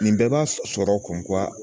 Nin bɛɛ b'a sɔrɔ